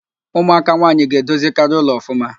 Ụmụaka nwaanyị ga-edozikarị ụlọ ọfụma